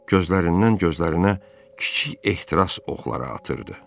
Gözlərindən gözlərinə kiçik ehtiras oxları atırdı.